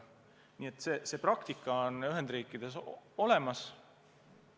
Nii et see praktika on Ühendriikides olemas.